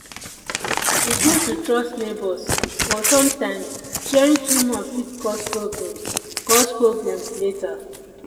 e good to trust neighbors but sometimes sharing too much fit cause problems cause problems later.